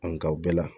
o bɛɛ la